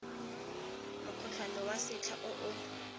mokgotlhwane wa setlha o o